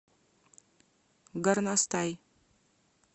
горностай